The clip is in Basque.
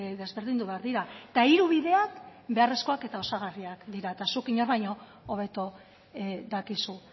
desberdindu behar dira eta hiru bideak beharrezkoak eta osagarriak dira eta zuk inork baino hobeto dakizu